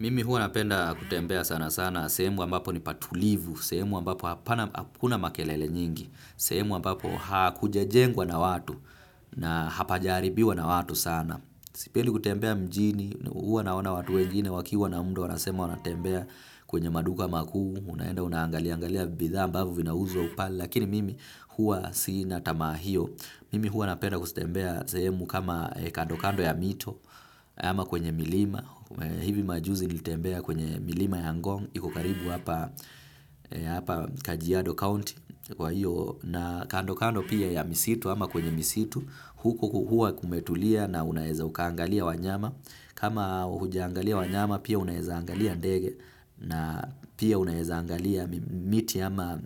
Mimi huwa napenda kutembea sana sana sehemu ambapo ni patulivu, sehemu ambapo hakuna makelele nyingi, sehemu ambapo hakujajengwa na watu na hapajaharibiwa na watu sana. Sipendi kutembea mjini, huwa naona watu wengine wakiwa na muda wanasema wanatembea kwenye maduka makuu, unaenda unaangalia angalia bidhaa ambavyo vinauzwa pale, lakini mimi huwa sina tamaa hiyo. Mimi huwa napenda kutembea sehemu kama kando kando ya mito ama kwenye milima. Hivi majuzi nilitembea kwenye milima ya ngong, iko karibu hapa Kajiado County kwa hiyo na kando kando pia ya misitu ama kwenye misitu huko huwa kumetulia na unaweza ukaangalia wanyama. Kama hujaangalia wanyama pia unaweza angalia ndege na pia unaweza angalia miti ama